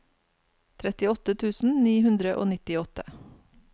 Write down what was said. trettiåtte tusen ni hundre og nittiåtte